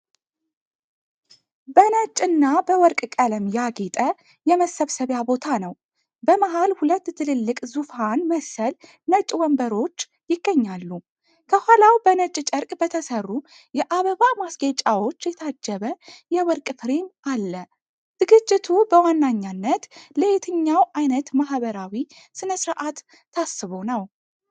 በነጭ እና በወርቅ ቀለም ያጌጠ የመሰብሰቢያ ቦታ ነው፤ በመሃል ሁለት ትልልቅ ዙፋን መሰል ነጭ ወንበሮች ይገኛሉ። ከኋላው በነጭ ጨርቅ በተሰሩ የአበባ ማስጌጫዎች የታጀበ የወርቅ ፍሬም አለ፤ ዝግጅቱ በዋነኛነት ለየትኛው ዓይነት ማህበራዊ ሥነ ሥርዓት ታስቦ ነው?